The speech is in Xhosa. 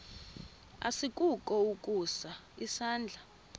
asikukho ukusa isandla